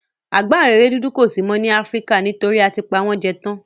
Àgbáǹréré dúdú kò si mó nílẹ Afrika nítorí a ti pa won jẹ tán